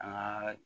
An ka